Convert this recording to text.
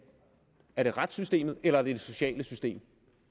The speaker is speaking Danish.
er det retssystemet eller er det det sociale system